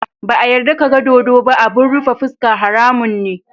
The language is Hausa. Ba a yarda ka ga dodo ba abun rufe fuska, haramun ne.